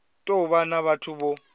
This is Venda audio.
tou vha na vhathu vho